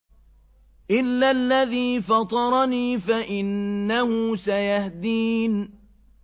إِلَّا الَّذِي فَطَرَنِي فَإِنَّهُ سَيَهْدِينِ